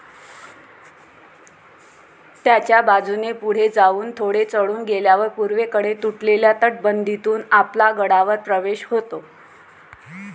त्याच्या बाजूने पुढे जाऊन थोडे चढून गेल्यावर पूर्वेकडून तुटलेल्या तटबंदीतून आपला गडावर प्रवेश होतो.